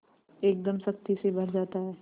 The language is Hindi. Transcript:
एकदम शक्ति से भर जाता है